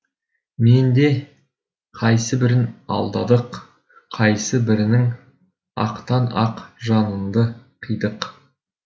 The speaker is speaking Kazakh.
менде қайсы бірін алдадық қайсы бірінің ақтан ақ жанында қидық